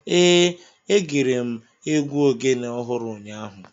Ee, egere m egwu Ogene ọhụrụ ụnyahụ